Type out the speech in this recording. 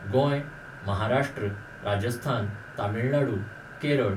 Goa, Maharashtra, Rajasthan, Tamil Nadu, Kerala